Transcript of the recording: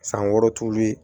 San wɔɔrɔ t'ulu ye